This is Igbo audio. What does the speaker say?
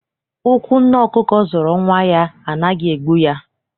Ụkwụ nne ọkụkọ zọrọ nwa ya anaghị egbu ya.